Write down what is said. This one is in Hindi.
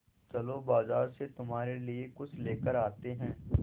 चलो बाज़ार से तुम्हारे लिए कुछ लेकर आते हैं